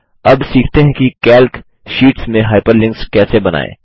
अब सीखते हैं कि कैल्क शीट्स में हाइपरलिंक्स कैसे बनाएँ